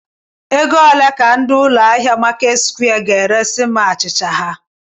Ego ole ka ndị ụlọ ahịa Marketsquare ga-eresi m achịcha ha?.